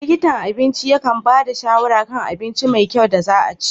Likitan abinci yakan ba da shawara kan abinci mai kyau da za'a ci.